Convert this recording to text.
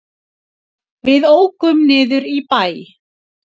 Við ókum niður í bæ.